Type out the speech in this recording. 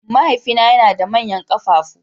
Mahaifina yana da manyan ƙafafu.